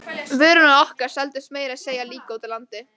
Vörurnar okkar seldust meira að segja líka úti á landi.